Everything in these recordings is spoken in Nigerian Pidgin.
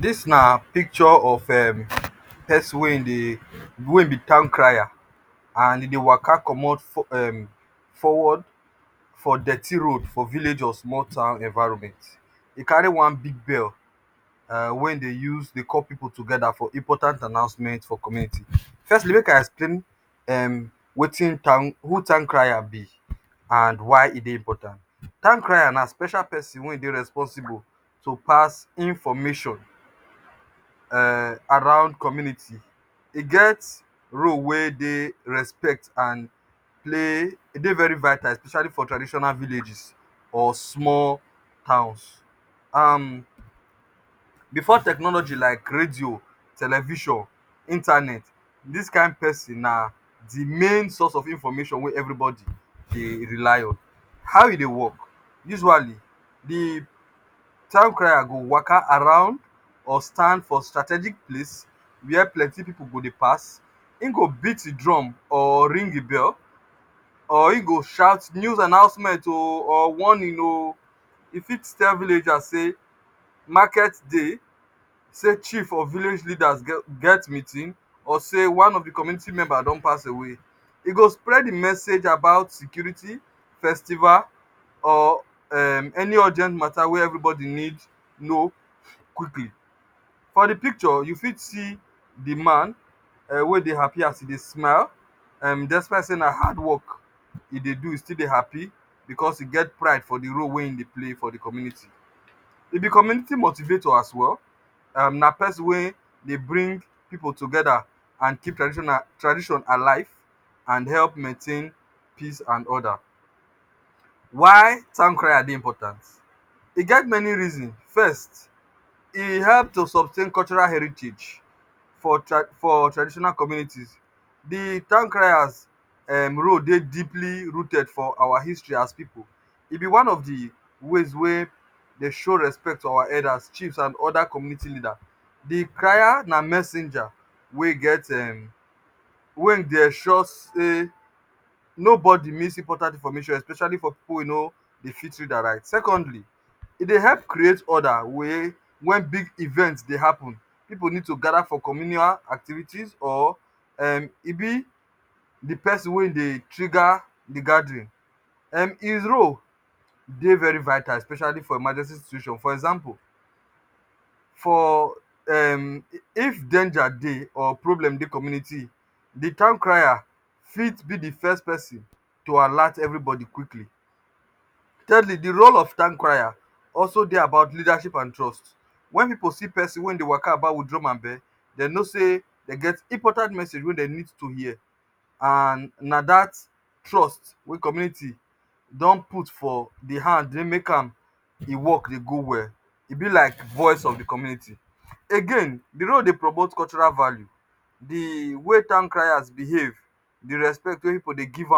Dis na picture of pesin wey e dey wey be town crier and e dey waka comot forward for dirty road for village or small town environment. E carry one big bell, wen e dey use dey call pipu togeta for important announcement for community. Firstly, make I explain who town crier be and why e dey important. Town crier na special pesin wey dey responsible to pass information wey surround community. E get role wey dey respect and play, e dey very vital especially for traditional villages or small house. Bifor technology like radio, television, internet, dis kain pesin na di main source of information wey evribodi dey rely on. How im dey wok? Usually, di town crier go waka around or stand for strategic place wia plenty pipu dey pass. Im go beat im drum or ring im bell. Or im go shout, "News announcement oh!" or "Warning oh!" E fit tell villages say, market day, chief or village leaders get meeting, or say one of di community members don pass away. E go spread di message about security, festival, or any urgent matta wey evribodi need know. For di picture, you fit see di man wey dey happy as e dey smile. Despite say na hard wok e dey do, e still dey happy bicos e get pride for di role wey im dey play for di community. Dem be community motivator as well. Na pesin wey dey bring pipu togeta, dey keep tradition alive, and help maintain peace and order. Why town crier dey important? E get many reasons. First, e help to sustain cultural heritage for traditional community. Di town crier role dey deeply rooted for our history as pipu. E be one of di way we dey show respect to our elders, chiefs and oda community leaders. Di crier na messenger wey dey make sure say nobody miss important information, especially for pipu wey no dey fit read and write. Secondly, e dey help create order wen big event dey happun. Pipu need to gather for communal activities and e be di pesin wey dey trigger di gathering. Im role dey very vital especially for emergency situation. For example, if danger dey or problem dey community, di town crier fit be di first pesin to alert evribodi quickly. Di role of di town crier also dey about leadership and trust. Wen pipu see pesin wey dey waka about wit drum and bell, dem know say e get important message wey dem need to hear. And dat trust wey community don put for im hand dey make di wok dey go well. Im be like voice of di community. Again, di role dey promote cultural value. Di way town crier dey behave, di respect wey pipu dey give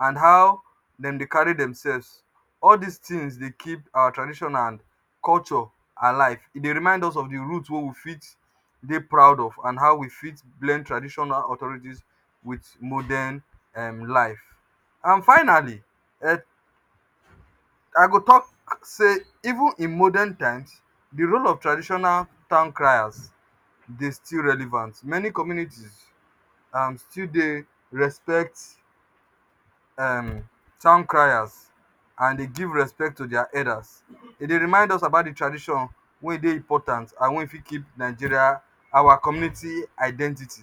and how dem dey carry demself, all dis tins dey keep our tradition and culture alive. E remind us of di root wey we fit dey proud of and how we fit blend tradition wit modern life. And finally I go tok say even for modern times, di role of traditional town crier still dey relevant. Many communities still dey respect town criers and e dey give respect to dia elders. E dey remind us about di tradition wey important and wey fit keep Nigeria and our community identity.